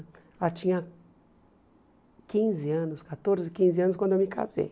Ela tinha quinze anos, quatorze, quinze anos quando eu me casei.